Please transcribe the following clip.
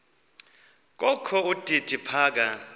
kokho udidi phaka